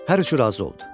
Hər üçü razı oldu.